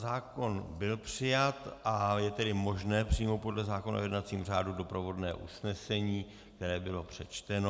Zákon byl přijat, a je tedy možné přijmout podle zákona o jednacím řádu doprovodné usnesení, které bylo přečteno.